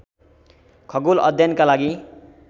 खगोल अध्ययनका लागि